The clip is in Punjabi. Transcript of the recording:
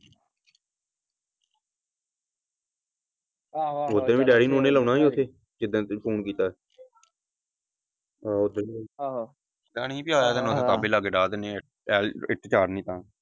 ਓਥੇ ਵੀ ਡੈਡੀ ਨੂੰ ਲਾਉਣਾ ਸੀ ਓਥੇ ਜਿਦਣ ਤੂੰ ਕੀਤਾ ਸੀ ਆਹ ਓਦਣ ਵੀ ਅਸੀਂ ਵੀ ਆਇਆ ਕਰਨਾ .